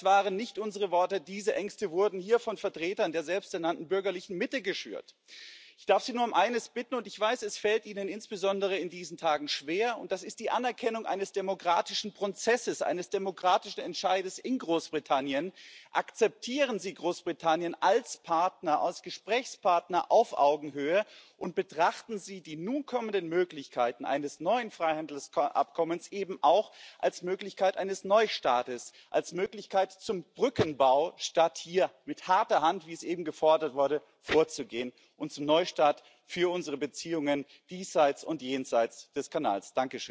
Das waren nicht unsere Worte, diese Ängste wurden hier von Vertretern der selbst ernannten bürgerlichen Mitte geschürt. Ich darf Sie nur um eines bitten und ich weiß, es fällt Ihnen insbesondere in diesen Tagen schwer und das ist die Anerkennung eines demokratischen Prozesses, eines demokratischen Entscheides in Großbritannien Akzeptieren Sie Großbritannien als Partner, als Gesprächspartner auf Augenhöhe, und betrachten Sie die nun kommenden Möglichkeiten eines neuen Freihandelsabkommens eben auch als Möglichkeit eines Neustartes, als Möglichkeit zum Brückenbau statt hier mit harter Hand, wie es eben gefordert wurde, vorzugehen und zum Neustart für unsere Beziehungen diesseits und jenseits des Kanals.